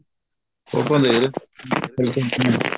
ਫੋਟੋਆਂ ਦੇਖ ਰਹੇ ਸੀ